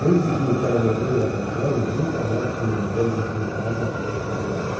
Desde o dia em que ela morreu, há dez anos, nunca mais comemoramos aqui em casa a véspera de Natal.